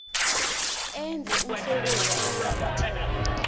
enza umsebenzi oqakatheke